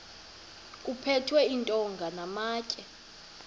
kuphethwe iintonga namatye